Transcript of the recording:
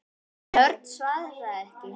En Örn svaraði ekki.